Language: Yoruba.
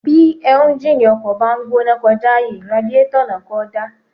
Bí éúnjínì ọkọ̀ bá ń gbóná kọjá àyè, radiétọ̀ náà kò dáa